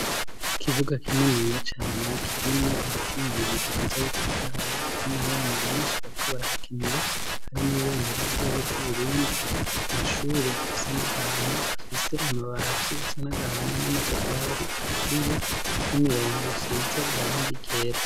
Ikibuga kininiya cane kirimwo ibiti bibiri vyiza bitotahaye hari n'abana benshi bariko barahakinira hari n'ibendera ry'igihugu c'Uburundi amashure asa n'agahama afise amabati asa n'agahama n'amatafari aturiye n'imirongo isize irangi ryera.